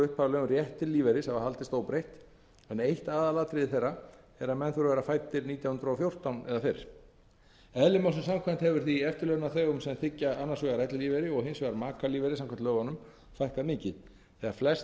upphaflega um rétt til lífeyris hafa enn fremur haldist óbreytt en eitt aðalatriði þeirra er að menn þurfi að vera fæddir nítján hundruð og fjórtán eða fyrr eðli málsins samkvæmt hefur því eftirlaunaþegum sem þiggja annars vegar ellilífeyri og hins vegar makalífeyri samkvæmt lögunum fækkað mikið þegar flest